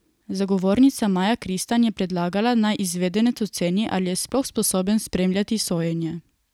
Zagovornica Maja Kristan je predlagala, naj izvedenec oceni, ali je sploh sposoben spremljati sojenje.